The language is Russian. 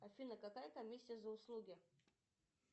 афина какая комиссия за услуги